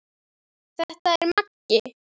Þetta er Maggi!